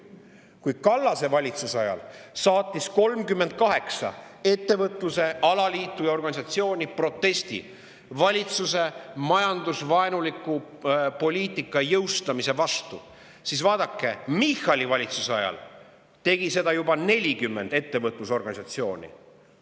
Kui Kallase valitsuse ajal saatis 38 ettevõtluse alaliitu ja organisatsiooni protesti valitsuse majandusvaenuliku poliitika jõustamise vastu, siis vaadake, Michali valitsuse ajal tegi seda juba 40 ettevõtlusorganisatsiooni.